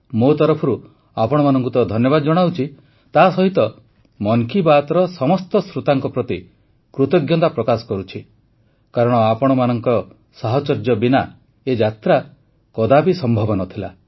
ମୋ ତରଫରୁ ଆପଣମାନଙ୍କୁ ତ ଧନ୍ୟବାଦ ଜଣାଉଛି ତାସହିତ ମନ୍ କି ବାତ୍ର ସମସ୍ତ ଶ୍ରୋତାଙ୍କ ପ୍ରତି କୃତଜ୍ଞତା ପ୍ରକାଶ କରୁଛି କାରଣ ଆପଣମାନଙ୍କ ସାହଚର୍ଯ୍ୟ ବିନା ଏ ଯାତ୍ରା କଦାପି ସମ୍ଭବ ନ ଥିଲା